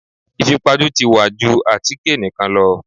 Ìfipajú ti wá ju àtíkè nìkan lọ.